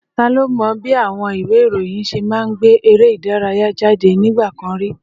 Ta ló mọ bí àwọn ìwé ìròyìn ṣe máa ń gbé eré ìdárayá jáde nígbà kan rí?